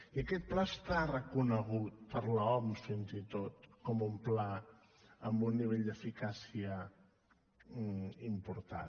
i aquest pla està reconegut per l’oms fins i tot com un pla amb un nivell d’eficàcia important